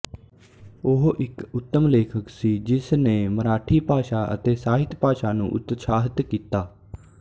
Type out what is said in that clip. ਉਹ ਇਕ ਉੱਤਮ ਲੇਖਕ ਸੀ ਜਿਸ ਨੇ ਮਰਾਠੀ ਭਾਸ਼ਾ ਅਤੇ ਸਾਹਿਤ ਨੂੰ ਉਤਸ਼ਾਹਤ ਕੀਤਾ